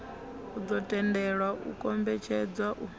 ḓo tendelwa u kombetshedza u